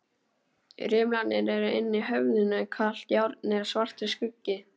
Rimlarnir eru inni í höfðinu, kalt járnið er svartur skuggi.